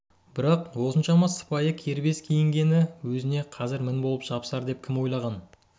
бірақ осыншама сыпайы кербез киінгені өзіне қазір мін болып жабысар деп кім ойлаған